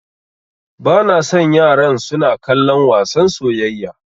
Bana son yaran suna kallon wasan soyayya.